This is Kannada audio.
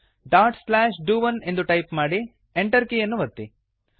ಡಾಟ್ ಸ್ಲ್ಯಾಶ್ ಡು ಒನ್ ಎಂದು ಟೈಪ್ ಮಾಡಿ Enter ಕೀಯನ್ನು ಒತ್ತಿ